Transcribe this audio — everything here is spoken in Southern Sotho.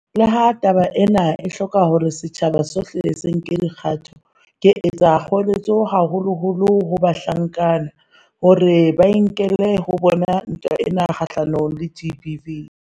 Leha taba ena e hloka hore setjhaba sohle se nke dikgato, ke etsa kgoeletso haholoholo ho bahlankana, hore ba e nkele ho bona ntwa e kgahlanong le GBV.